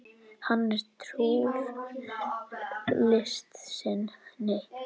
Hann er trúr list sinni.